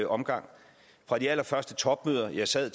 omgang fra de allerførste topmøder jeg sad